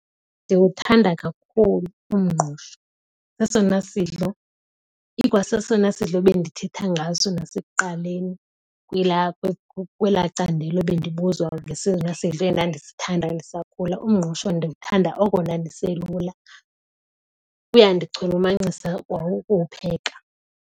Ndiwuthanda kakhulu umngqusho. Sesona sidlo ikwasesona sidlo bendithetha ngaso nasekuqaleni kwelaa candelo bendibuzwa ngesona sidlo endandisithanda ndisakhula. Umngqusho ndiwuthanda oko ndandiselula. Kuyandichulumancisa kwa ukuwupheka.